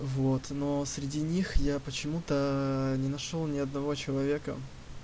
вот но среди них я почему-то не нашёл ни одного человека